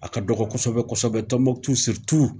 A ka dɔgɔ kosɛbɛ kosɛbɛ tɔnbutu siritu